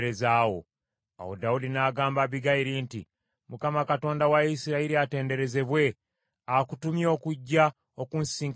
Awo Dawudi n’agamba Abbigayiri nti, “ Mukama Katonda wa Isirayiri atenderezebwe, akutumye okujja okunsisinkana leero.